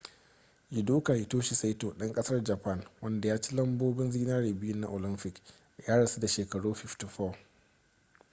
judoka hitoshi saito ɗan ƙasar japan wanda ya ci lambobin zinare biyu na olamfik ya rasu da shekaru 54